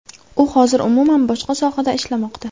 U hozir umuman boshqa sohada ishlamoqda.